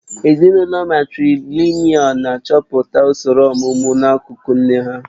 Ezinụlọ matrìlị̀nị́al na-achọpụta usoro ọ̀mụmu n'akụkụ nne ha